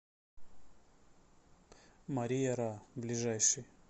мария ра ближайший